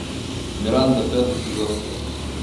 миранда пятый сезон